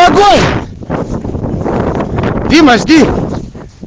погодь дима жди